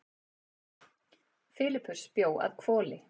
Filippus bjó að Hvoli.